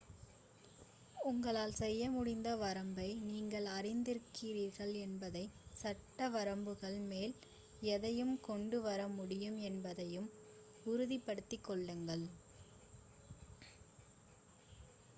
உங்களால் செய்யமுடிந்த வரம்பை நீங்கள் அறிந்திருக்கிறீர்கள் என்பதையும் சட்ட வரம்புகளுக்கு மேல் எதையும் கொண்டு வர முடியாது என்பதையும் உறுதிப்படுத்திக்கொள்ளுங்கள்